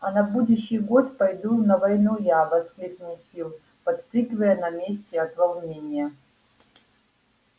а на будущий год пойду на войну я воскликнул фил подпрыгивая на месте от волнения